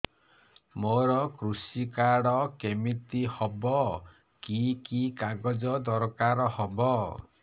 ମୋର କୃଷି କାର୍ଡ କିମିତି ହବ କି କି କାଗଜ ଦରକାର ହବ